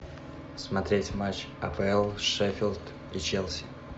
смотреть матч апл шеффилд и челси